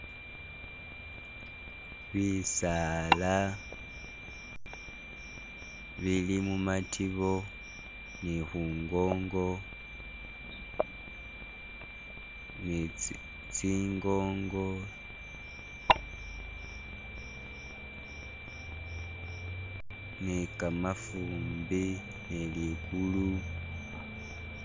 Bisaala bili mumatibo nibkhungongo ne tsi tsingongo ne kamafumbi ne ligulu